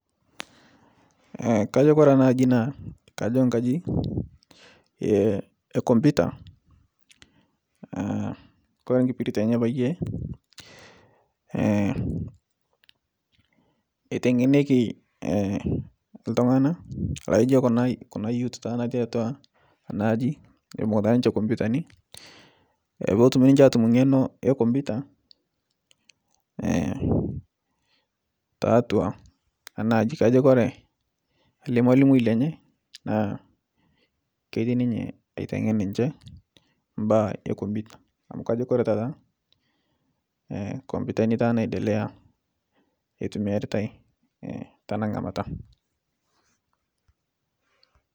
Kajo kore anaji naakajo nkaji ekomputa kore nkipiritie enye naapayie eteng'eneki ltungana naijo kuna youth tata nati atua anaji ebunguta ninche komputani petum niche atum ng'eno ekomputa tatua anaji kajo kore ale lmalimoi lenye naa ketii ninye aitengen niche mbaa ekomputa amu kajo kore tata komputani tata naidelea eitumiaritae tana ngamata.